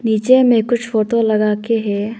पीछे में कुछ फोटो लगा के है।